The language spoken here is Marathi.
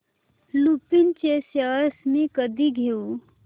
लुपिन चे शेअर्स मी कधी घेऊ